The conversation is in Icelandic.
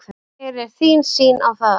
Hver er þín sýn á það?